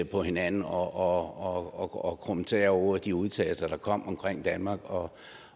på hinanden og krumme tæer over de udtalelser der kom om danmark og